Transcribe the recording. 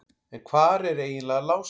En hvar er eiginlega Lási?